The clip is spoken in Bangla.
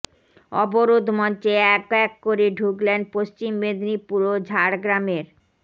অবরোধ মঞ্চে এক এক করে ঢুকলেন পশ্চিম মেদিনীপুর ও ঝা়ড়গ্রামের